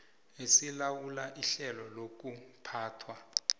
esilawula ihlelo lokuphathwa